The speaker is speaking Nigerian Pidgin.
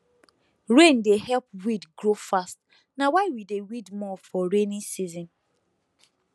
rain dey help weed grow fast na why we dey weed more for rainy season